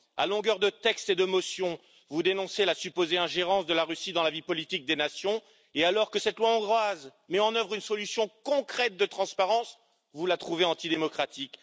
À longueur de textes et de motions, vous dénoncez la supposée ingérence de la Russie dans la vie politique des nations, et alors que cette loi hongroise met en œuvre une solution concrète de transparence, vous la trouvez antidémocratique.